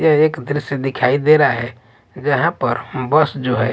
ये एक दृश्य दिखाई दे रहा है जहां पर बस जो है।